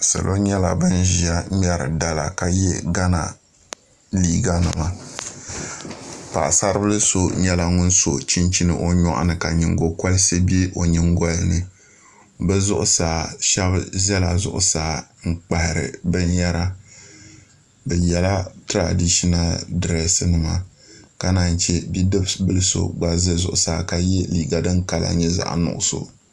Salo nyɛla bin ʒiya ŋmɛri dala ka yɛ gana liiga nima paɣasari bili so nyɛla ŋun so chinchini o nyoɣa ni ka nyingokoriti bɛ o nyingoli ni bi zuɣusaa shab ʒila zuɣusaa n kpahari binyɛra bi yɛla tiradishinal dirɛsi nima ka naan chɛ bidib bili so gba ʒɛ zuɣusaa ka yɛ liiga din kala nyɛ zaɣ nuɣso